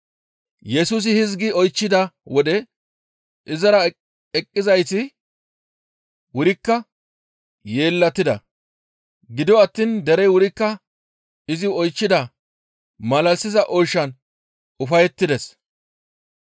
Yesusi hizgi oychchida wode izara eqettizayti wurikka yeellatida; gido attiin derey wurikka izi oychchida malalisiza oyshan ufayettides.